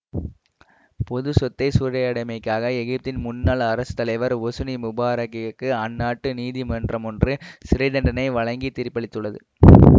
பொது சொத்தை சூறையாடியமைக்காக எகிப்தின் முன்னாள் அரசுசுத்தலைவர் ஒசுனி முபாரக்கிற்கு அந்நாட்டு நீதிமன்றம் ஒன்று சிறை தண்டனை வழங்கித் தீர்ப்பளித்துள்ளது